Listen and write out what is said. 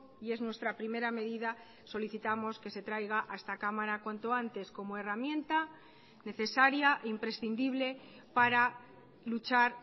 y es nuestra primera medida solicitamos que se traiga a esta cámara cuanto antes como herramienta necesaria imprescindible para luchar